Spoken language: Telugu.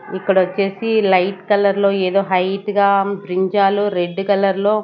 ఇక్కడ వచ్చేసి లైట్ కలర్ లో ఏదో హైట్ గా బ్రింజాలు రెడ్ కలర్ లో.